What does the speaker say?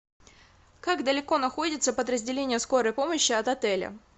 как далеко находится подразделение скорой помощи от отеля